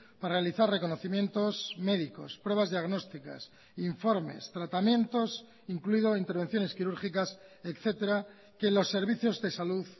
para realizar reconocimientos médicos pruebas diagnósticas informes tratamientos incluido intervenciones quirúrgicas etcétera que los servicios de salud